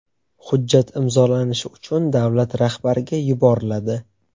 Hujjat imzolanishi uchun davlat rahbariga yuboriladi.